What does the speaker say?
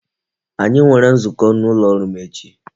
Anyi nwere nzukọ n'ụlọ ọrụ m echi